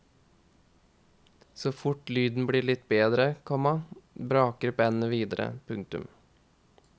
Så fort lyden blir litt bedre, komma braker bandet videre. punktum